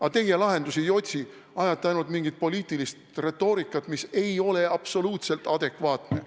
Aga teie lahendusi ei otsi, ajate ainult mingit poliitilist retoorikat, mis ei ole absoluutselt adekvaatne.